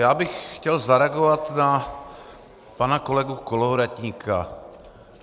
Já bych chtěl zareagovat na pana kolegu Kolovratníka.